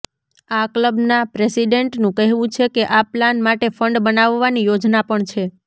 આ ક્લબના પ્રેસિડેન્ટનું કહેવું છે કે આ પ્લાન માટે ફંડ બનાવવાની યોજના પણ છે